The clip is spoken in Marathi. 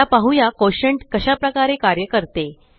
आता पाहुया कोटिएंट कशा प्रकारे कार्य करते